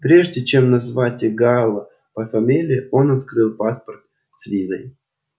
прежде чем назвать гаала по фамилии он открыл паспорт с визой